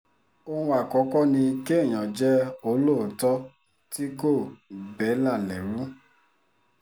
ohun àkọ́kọ́ ni kéèyàn jẹ́ olóòótọ́ tí kò bẹ́là lẹ́rú